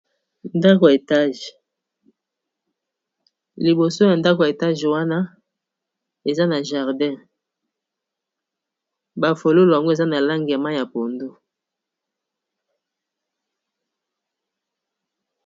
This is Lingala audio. Ndako ya etage, liboso ya ndako ya etage wana eza na jardin, bafololo ango eza na lange ya pondu.